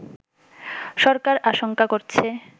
সরকার আশংকা করছে